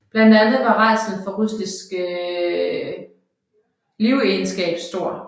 Blandt andet var rædslen for russisk livegenskab stor